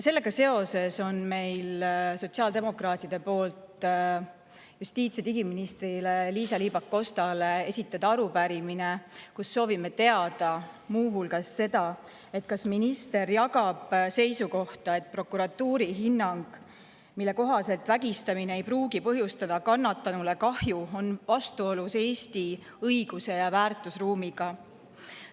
Sellega seoses on meil sotsiaaldemokraatide poolt justiits‑ ja digiminister Liisa-Ly Pakostale arupärimine, kus soovime teada muu hulgas seda, kas minister jagab seisukohta, et prokuratuuri hinnang, mille kohaselt vägistamine ei pruugi põhjustada kannatanule kahju, on vastuolus Eesti õiguse ja väärtusruumiga.